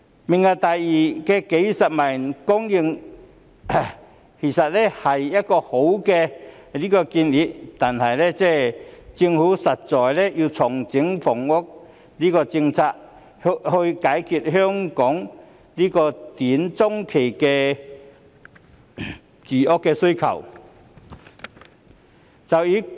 "明日大嶼願景"計劃供應數十萬個單位，其實是好的建議，但政府實在要重整房屋政策，以解決香港短中期的住屋需求。